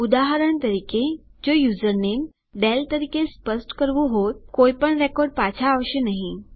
ઉદાહરણ તરીકે જો યુઝરનેમ ડેલ તરીકે સ્પષ્ટ કરવું હોત કોઈપણ રેકોર્ડ પાછા આવશે નહી